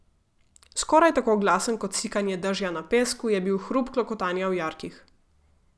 Skoraj tako glasen kot sikanje dežja na pesku je bil hrup klokotanja v jarkih.